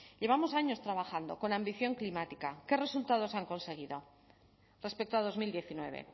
llevamos años trabajando con ambición climática qué resultados se han conseguido respecto a dos mil diecinueve